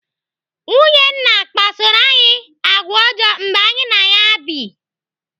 Nwunye nna kpasoro anyị àgwà ọjọọ mgbe anyị na ya bụ.